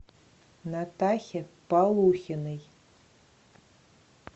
натахе полухиной